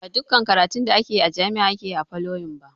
Ba duƙƙan karatun da ake a jami'a ake yi a folytekni ba